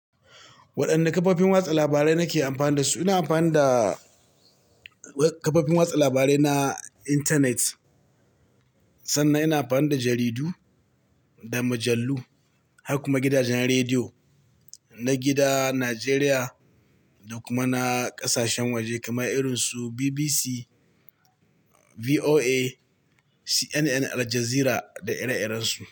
Waɗanne kafofin watsa labarai nake amfani da su? Ina amfani da kafofin watsa labarai na intanet, sannan ina amfani da jaridu da mujallu, har kuma gidajen rediyo na gida, Najeriya da kuma na ƙasashen waje kamar irinsu BBC, VOA, CNN, Aljazeera da da ire-irensu.